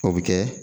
O bɛ kɛ